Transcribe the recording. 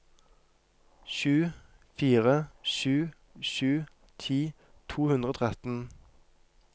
sju fire sju sju ti to hundre og tretten